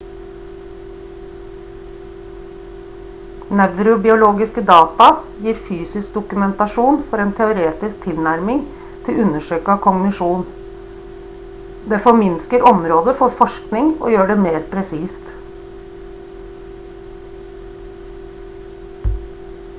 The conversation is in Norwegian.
nevrobiologiske data gir fysisk dokumentasjon for en teoretisk tilnærming til undersøkelse av kognisjon det forminsker området for forskning og gjør det mer presist